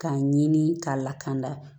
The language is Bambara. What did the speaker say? K'a ɲini k'a lakana